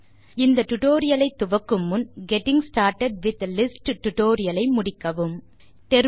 இந்த டியூட்டோரியல் ஐ துவக்கு முன் getting started with lists tutorial ஐ முடிக்க பரிந்துரைக்கிறோம்